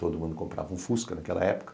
Todo mundo comprava um fusca naquela época.